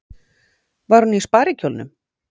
Var hún í sparikjólnum?